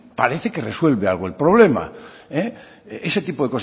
parece que resuelve algo el problema ese tipo